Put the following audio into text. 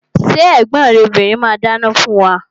Ṣé ẹ̀gbọ́n rẹ obìrin ma dáná fún wa?